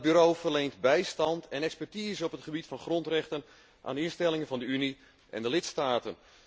Dat bureau verleent bijstand en expertise op het gebied van grondrechten aan de instellingen van de Unie en de lidstaten.